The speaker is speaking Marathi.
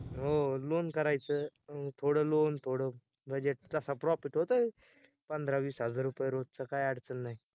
हो loan करायच, थोडं loan थोडं budget तस profit होतंय पंधरा-वीस हजार रूपए रोजचं काय अडचण नाय